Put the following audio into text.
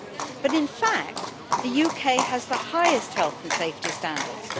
But in fact the UK has the highest health and safety standards.